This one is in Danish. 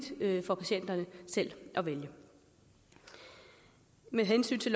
for patienterne selv at vælge med hensyn til